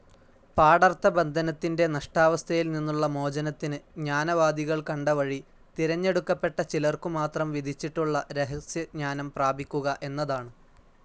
പാഠർത്ഥബന്ധനത്തിൻ്റെ നഷ്ടാവസ്ഥയിൽനിന്നുള്ള മോചനത്തിന് ജ്ഞാനവാദികൾ കണ്ട വഴി, തിരഞ്ഞെടുക്കപ്പെട്ട ചിലർക്കുമാത്രം വിധിച്ചിട്ടുള്ള രഹസ്യജ്ഞാനം പ്രാപിക്കുക എന്നതാണ്.